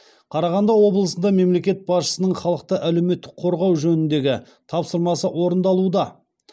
қарағанды облысында мемлекет басшысының халықты әлеуметтік қорғау жөніндегі тапсырмасы орындалуда